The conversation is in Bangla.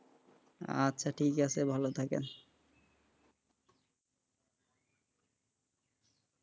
আচ্ছা ঠিক আছে ভালো থাকেন,